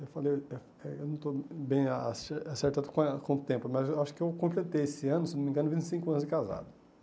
Eu falei eita, eu ainda não estou bem a acer acertado com a com o tempo, mas acho que eu completei esse ano, se não me engano, vinte e cinco anos de casado.